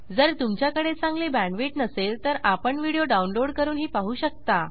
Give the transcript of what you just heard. जर तुमच्याकडे चांगली बॅण्डविड्थ नसेल तर आपण व्हिडिओ डाउनलोड करूनही पाहू शकता